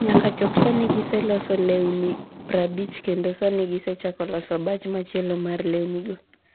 Nyaka chop sani giseloso lewni 50 kendo sani gisechako loso batch machielo mar lewnigo.